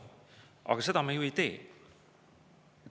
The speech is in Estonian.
Aga seda me ju ei tee.